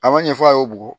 A ma ɲɛ fɔ a ye bugɔ